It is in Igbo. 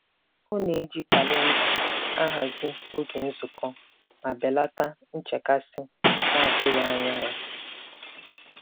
Ọ na-eji kalenda ahazi oge nzukọ ma belata nchekasị na-atụghị anya ya.